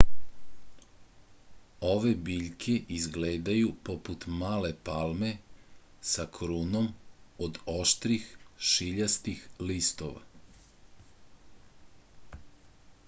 ove biljke izgledaju poput male palme sa krunom od oštrih šiljastih listova